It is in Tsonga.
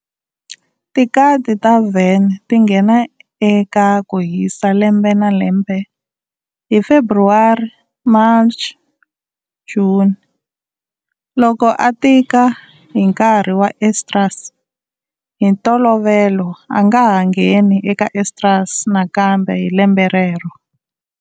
Tikati ta van ti nghena eka kuhisa lembe na lembe hi February-March-June. Loko a tika hi nkarhi wa estrus, hi ntolovelo a nga ha ngheni eka estrus nakambe hi lembe rero.